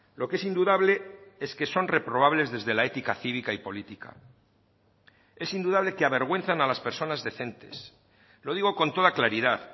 lo que es indudable es que son reprobables desde la ética cívica y política es indudable que avergüenzan a las personas decentes lo digo con toda claridad